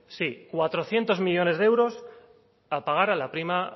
sí cuatrocientos millónes de euros a pagar a la prima